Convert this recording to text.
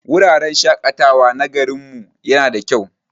Wurin shaƙatawa na garin mu yana da kyau.